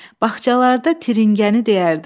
Bağçalarda tırıngəni deyərdim.